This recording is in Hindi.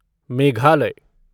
मेघालय